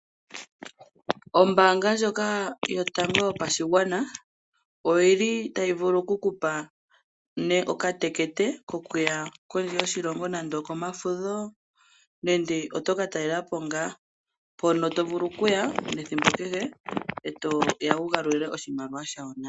Ombanga ndjoka yotango yopashigwana oyili tayi vulu oku kupa okatekete kokuya kondje yoshilongo nande okomafudho nenge oto ka talelapo ngaa. Mpono to vulu Kuya ethimbo kehe etoya wu galule oshimaliwa shawo nale.